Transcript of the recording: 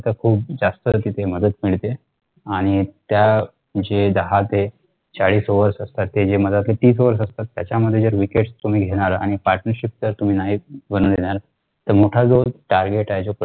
जास्तच तिथे मदत मिळते आणि त्या जे दहा ते चाळीस overs असतात ते जे तिस overs असतात त्याच्या मध्ये जर wickets तुम्ही घेणार आणि partneship ता तुम्ही नाही बनू देणार तर मोठा जो target